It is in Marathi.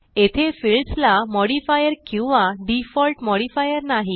येथे फील्ड्स ला मॉडिफायर किंवा डिफॉल्ट मॉडिफायर नाही